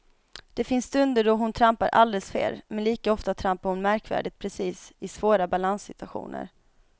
Det finns stunder då hon trampar alldeles fel, men lika ofta trampar hon märkvärdigt precis i svåra balanssituationer.